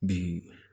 Bi